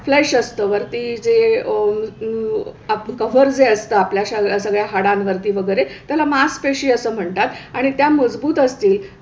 flesh असतं मांस जे अह अं कव्हर जे असतं आपल्या सगळ्या सगळ्या हाडांवरती वगैरे त्याला मासपेशी असं म्हणतात आणि त्या मजबूत असतील,